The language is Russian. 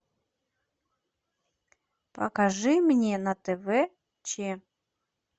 покажи мне на тв че